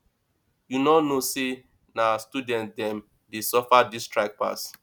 you no know sey na student dem dey suffer dis strike pass